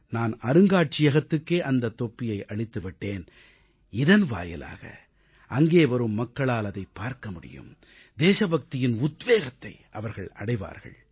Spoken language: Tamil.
நான் அருங்காட்சியகத்துக்கே அந்தத் தொப்பியை அளித்து விட்டேன் இதன் வாயிலாக அங்கே வரும் மக்களால் அதைப் பார்க்க முடியும் தேசபக்தியின் உத்வேகத்தை அவர்கள் அடைவார்கள்